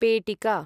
पेटिका